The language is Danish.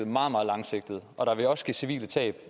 meget meget langsigtet og der vil også ske civile tab